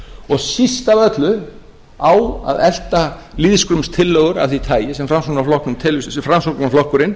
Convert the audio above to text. og síst af öllu á að elta lýðskrumstillögur af því tagi sem framsóknarflokkurinn